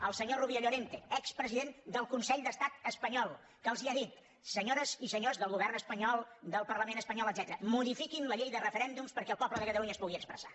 el senyor rubio llorente expresident del consell d’estat espanyol que els ha dit senyores i senyors del govern espanyol del parlament espanyol etcètera modifiquin la llei de referèndums perquè el poble de catalunya es pugui expressar